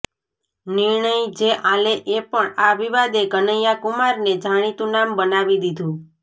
નિર્ણય જે આલે એ પણ આ વિવાદે કનૈયાકુમારને જાણીતું નામ બનાવી દીધું